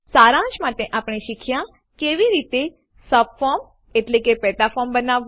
સારાંશમાં આપણે શીખ્યાં કે કેવી રીતે સબફોર્મ પેટા ફોર્મ બનાવવું